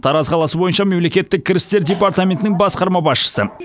тараз қаласы бойынша мемлекеттік кірістер департаментінің басқарма басшысы